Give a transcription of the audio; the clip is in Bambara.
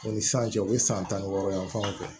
U ni san cɛ u bɛ san tan wɔɔrɔ yan fanw fɛ